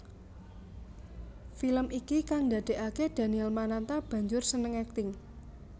Film iki kang ndadèkaké Daniel Mananta banjur seneng akting